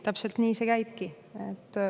Täpselt nii see käibki.